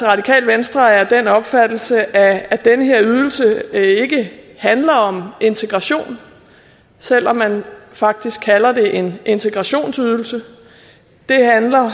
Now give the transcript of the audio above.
radikale venstre er af den opfattelse at at den her ydelse ikke handler om integration selv om man faktisk kalder det en integrationsydelse det handler